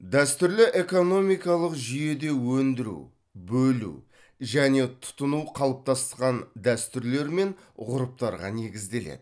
дәстүрлі экономикалық жүйеде өндіру бөлу және тұтыну қалыптасқан дәстүрлер мен ғұрыптарға негізделеді